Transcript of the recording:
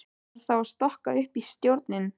Þarf þá að stokka upp í stjórninni?